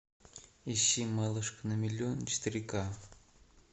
ищи малышка на миллион четыре ка